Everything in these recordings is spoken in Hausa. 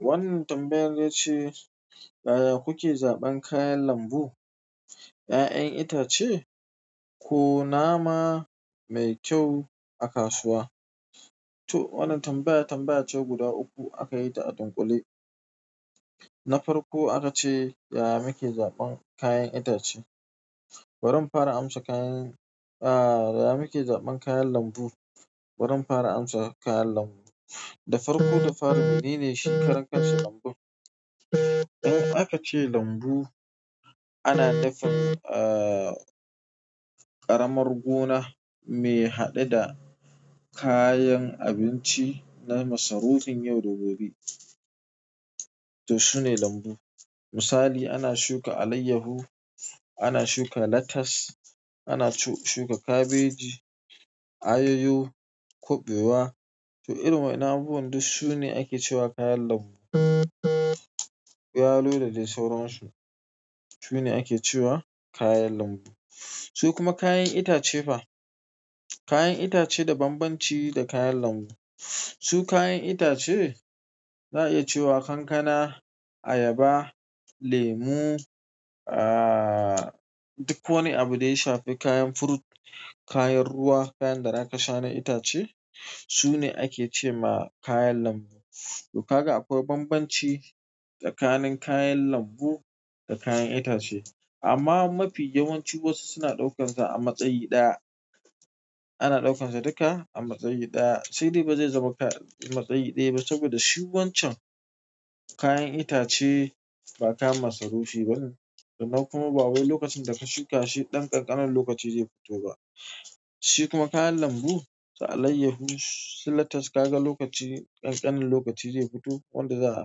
Wannan tambayar yace yaya kuke zaban kayan lambsu 'ya'yan itace ko nama me kayu a kasuwa. To wannan tambaya tambayace guda uku akayita a dunƙule. Na farko akace, "Yaya kake zaɓan kayan itace?" Barin fara amsa kayan, ah, yaya muke zaɓan kayan lambu? Wurin fara amsa kayan lambu. Da farko da fara, meneshi karan kansa lambun? Idan akace lambu ana nufin, ah, ƙaramar gona mai haɗe da kayan abinci na masarufin yau da gobe. To su ne lambu. Misali ana shuka alayyahu, ana shuka latas, ana shuka kabeji, ayayo, kuɓewa. To irin wa'inan abubuwan duk su ne ake cewa kayan lambu. Yalo, da dai sauransu, sune ake cewa kayan lambu. Su kuma kayan itace fa, kayan itace da banbanci da kayan lambu. Su kayan itace za'a iya cewa kankana, ayaba, lemu, ah, duk wani abu ɗaya shafi kayan fruit, kayan ruwa, kayan da zaka sha na itace sune ake cema kayan lambu. To kaga akwan banbanci tsakanin kayan lambu da kayan itace. Amma mafi yawanci wasu suna ɗaukansa a matsayi ɗaya. Ana ɗaukansa duka a matsayi ɗaya. Sai dai bazai zama matsayi ɗaya ba saboda shi wancan kayan itace ba kayan masarufi bane. Kenan kuma ba wai lokacin daka shuka shi ɗan ƙanƙanan lokaci zai fito ba. Shi kuma kayan lambu, su alayyahu, su latas kaga lokaci, ƙanƙanin lokaci zai fito wanda za'ai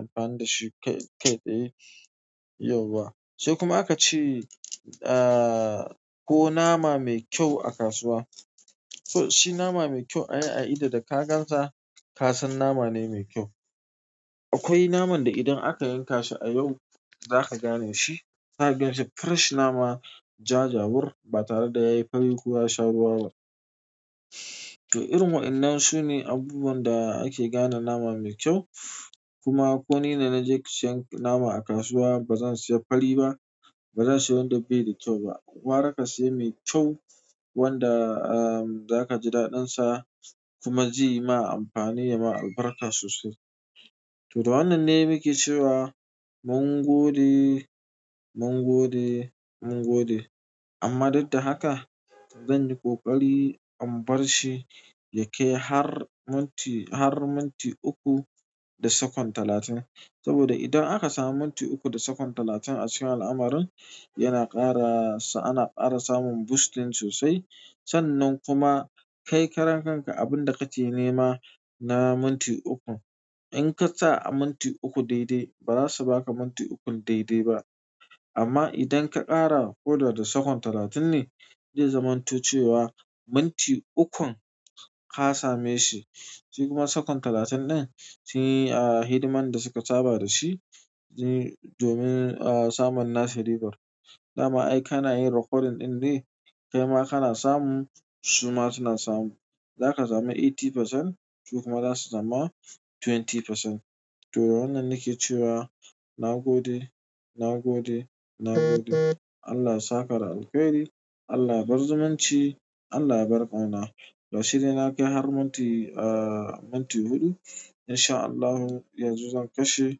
amfani dashi kai tsaye yauwa. Sai kuma akace, ah, ko nama mai kyau a kasuwa. Toshi nama mai kyau, ai a ido daka gansa kasan namane mai kyau. Akwai naman da idan aka yankashi a yau zaka ganeshi. Zaka ganshi fresh nama ja jawur batare da yayi fari ko yasha ruwa ba. To irin wa'inan sune abubuwan da ake gane nama mai kyau. Kuma koni da naje siyan nama a kasuwa bazan siya fari ba, ba zansiya wanda baida kyau ba. Gwara kasiya mai kyau wanda, um, za kaji daɗinsa kuma zeyi ma amfani yama albarka sosai. To da wannanne muke cewa mungode, mungode, mungode. Amma duk da haka zanyi ƙoƙari in barshi yakai har minti, har minti uku da sakon talatin. Saboda idan aka samu minti uku da sakon talatin acikin al'amarrin yana ƙara, ana ƙara samun boosting sosai. Sannan kuma kai karan kanka abinda kake nema na minti ukun. In kasa a minti uku daidai ba zasu baka minti ukun daidai ba. Amma idan ka ƙara hoda da sakon talatin ne zai zamanto cewa minti ukun ka sameshi. Sai kuma sakon talatin ɗin sunyi, ah, hidiman dasuka saba dashi domin, ah, samun nasamu ribar. Dama ai kanayin recording ɗinne kaima kana samun suma suna samun. Zaka samu eighty percent su kuma zasu sama twenty percent. To wannan nake cewa na gode, na gode, na gode. Allah yasaka da alheri, Allah yabar zumunci, Allah yabar ƙauna. Gashi dai nakai har minti, ah, minti huɗu. Insha Allahu yanzu zan kashe,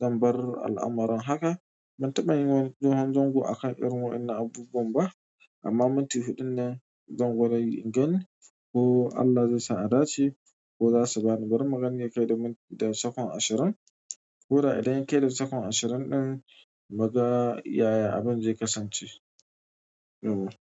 zanbar al'amarrin haka. Ban taɓa yin wanan dogon zango akan irin wa'innan abubuwan ba. Amma minti huɗun ne zan gwadayi in gani ko Allah zaisa adace ko zasu bani bari magani yakai da minti da sakon ashirin. Koda idan yakai da sakon ashirin ɗin muga yayi abin zai kasance. Yauwa.